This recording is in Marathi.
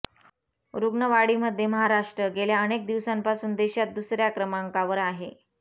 रुग्णवाढीमध्ये महाराष्ट्र गेल्या अनेक दिवसांपासून देशात दुसऱ्या क्रमांकावर आहे